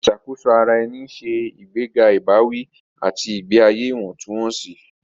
Ìṣàkóso ara ẹni ń ṣe ìgbéga ìbáwí àti ìgbé ayé ìwọ̀ntúnwọ̀nsì.